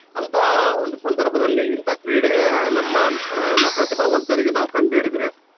ಅಂತ ಒಂದು ಸಂದರ್ಭದಲ್ಲಿ ಇಂತ ಕ್ರೀಡೆ ನಮ್ಮ ನ~ ಪ್ರತಿಭಾವಂತರಿಗೆ ನಾವು ಕಂಡು ಹಿಡಿದ್ರೆ.